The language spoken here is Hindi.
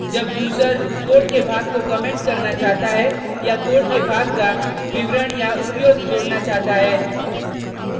जब यूजर कोड के भाग को कमेंट करना चाहता है या कोड के भाग का विवरण/उपयोग जोडना चाहता है